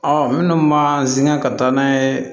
minnu man sɛŋɛ ka taa n'a ye